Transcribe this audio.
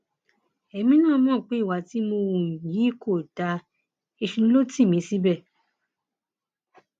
èmi náà mọ pé ìwà tí mo hù yí kò dáa èṣù ló tì mí síbẹ